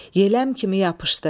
Yeləm kimi yapışdı.